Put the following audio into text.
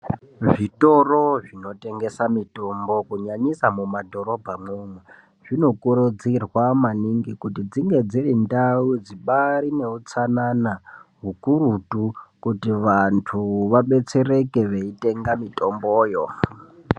Zvitoro zvinotengesa mitombo kunyanyisa mumadhorobhamwo umwo , zvinokurudzirwa maningi kuti dzinge dziri ndau dzibaari neutsanana hukurutu kuti vantu vabetsereke veitenga mitomboyo .